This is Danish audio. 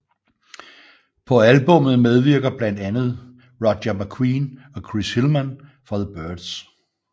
På albummet medvirker blandt ander Roger McGuinn og Chris Hilmann fra The Byrds